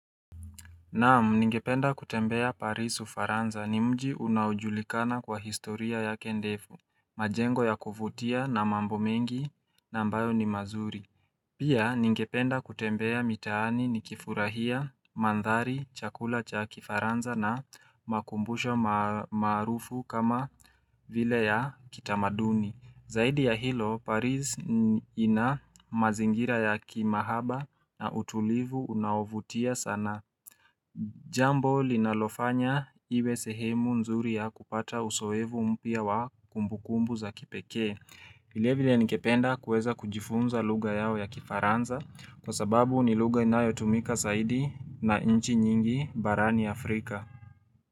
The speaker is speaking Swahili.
Naamu ningependa kutembea parisu faranza ni mji unaujulikana kwa historia ya kendefu majengo ya kuvutia na mambo mengi na ambayo ni mazuri Pia ningependa kutembea mitaani ni kifurahia, mandhari, chakula cha kifaranza na makumbusho marufu kama vile ya kitamaduni Zaidi ya hilo, Paris ina mazingira ya kimahaba na utulivu unavutia sana. Jambo linalofanya iwe sehemu nzuri ya kupata usoevu mpia wa kumbukumbu za kipekee. Vile vile nikependa kueza kujifunza lugha yao ya kifaranza kwa sababu ni lugha inayo tumika zaidi na nchi nyingi barani Afrika.